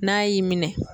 N'a y'i minɛ